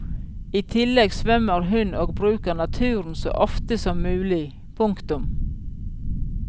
I tillegg svømmer hun og bruker naturen så ofte som mulig. punktum